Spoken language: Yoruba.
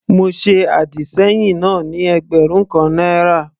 Mo ṣe àdìsẹ́yìn náà ní ẹgbẹ̀rún kan náírà.